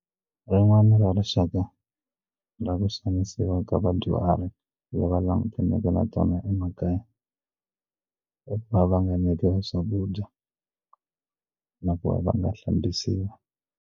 Rin'wana ra rixaka ra ku xanisiwa ka vadyuhari lava langutaneke na tona emakaya va va nga nyikiwi swakudya na ku va nga hlambisiwi.